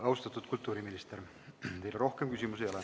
Austatud kultuuriminister, teile rohkem küsimusi ei ole.